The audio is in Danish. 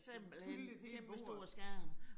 Simpelthen kæmpestor skærm